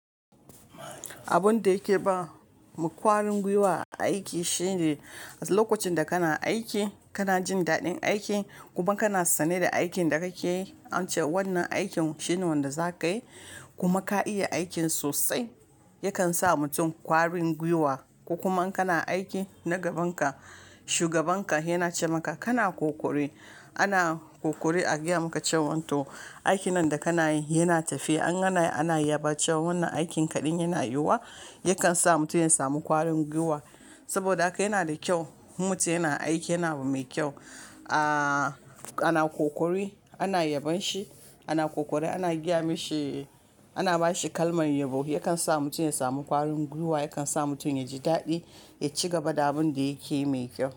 Abun da yake bamu kwarin gwiwa aiki shine, lokacin da kana aiki kana jin daɗin aiki kuma kana sane da aikin da kake yi, an ce wannan aikin shine wanda za ka yi kuma ka iya aikin sosai, yakan sa mutum kwarin gwiwa. Ko kuma in kana aiki na gaban ka shugaban ka yana ce maka kana ƙoƙari, ana ƙoƙari a gaya maka cewa to aikin nan da kana yi yana tafiya ana yi ana yaba cewa wannan aikin kaɗin yana yiwuwa, yakan sa mutum ya samu ƙwarin gwiwa. Saboda haka yana da kyau mutum yana aiki yana abu mai kyau, ana ƙoƙari ana yabon shi ana ƙoƙari ana gaya mashi ana ba shi kalmar yabo. Yakan sa mutum ya samu ƙwarin gwiwa, yakan sa mutum ya ji daɗi ya ci gaba da abun da yake mai kyau.